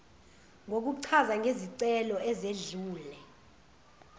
kokuchaza ngezicelo ezedlule